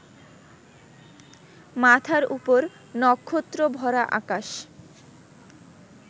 মাথার উপর নক্ষত্রভরা আকাশ